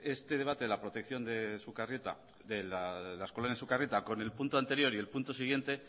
este debate la protección de las colonias de sukarrieta con el punto anterior y el punto siguiente